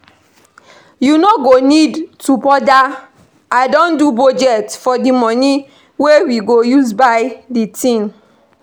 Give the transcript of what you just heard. You no need to bother I don do budget for the money wey we go use buy the thing